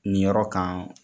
Nin yɔrɔ kan.